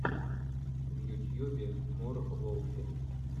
в ютьюбе мор волфи